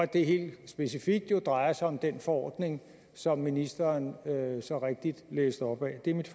det helt specifikt jo drejer sig om den forordning som ministeren så rigtigt læste op af det er mit